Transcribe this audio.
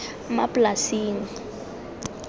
maplasing